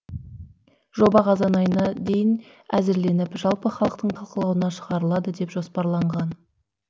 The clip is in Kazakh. жоба қазан айына дейін әзірленіп жалпы халықтың талқылауына шығарылады деп жоспарланған